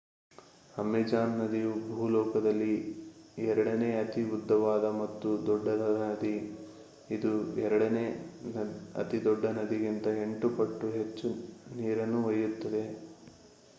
Amazon ನದಿಯು ಭೂಲೋಕದಲ್ಲಿ ಎರಡನೇ ಅತಿ ಉದ್ಧವಾದ ಮತ್ತು ದೊಡ್ಡದಾದ ನದಿ ಇದು ಎರಡನೇ ಅತಿದೊಡ್ಡ ನದಿಗಿಂತ 8 ಪಟ್ಟು ಹೆಚ್ಚು ನೀರನ್ನು ಒಯ್ಯುತ್ತದೆ